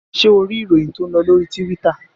Ṣé o rí ìròyìn tó ń lọ lórí Tíwítà?